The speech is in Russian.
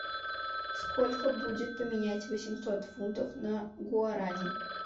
сколько будет поменять восемьсот фунтов на гуарани